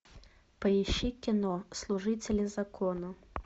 поищи кино служители закона